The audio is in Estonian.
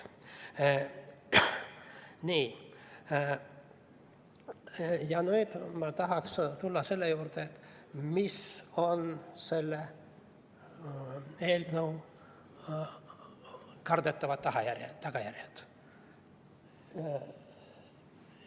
Nüüd ma tahaks tulla selle juurde, mis on selle eelnõu kardetavad tagajärjed.